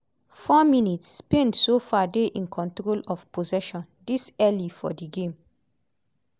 4 mins - spain so far dey in control of possession dis early for di game.